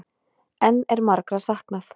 Enn er margra saknað